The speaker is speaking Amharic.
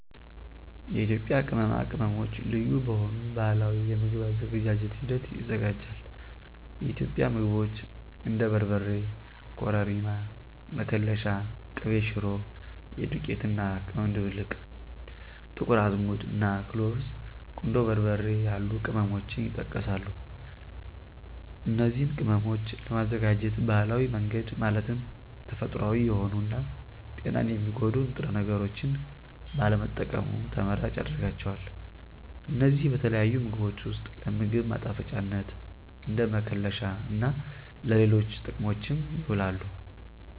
የኢትዮጵያ ቅመማ ቅመሞች ልዩ በሆኑ ባህላዊ የምግብ አዘገጃጀት ሂደት ይዘጋጃል። የኢትዮጵያ ምግቦች እንደ በርበሬ፣ ኮረሪማ፣ መከለሻ፣ ቅቤ ሽሮ (የዱቄት እና ቅመም ድብልቅ)፣ ጥቁር አዝሙድ፣ እና ክሎቭስ፣ ቁንዶ በርበሬ ያሉ ቅመሞችን ይጠቀሳሉ። እነዚን ቅመሞች ለማዘጋጀት ባህላዊ መንገድ ማለትም ተፈጥሮአዊ የሆኑ እና ጤናን የሚጎዱ ንጥረ ነገሮችን ባለመጠቀሙ ተመራጭ ያደርጋቸዋል። እነዚህ በተለያዩ ምግቦች ውስጥ ለ ምግብ ማጣፈጫነት፣ እንደ መከለሻ እና ለሌሎች ጥቅሞችም ይውላሉ።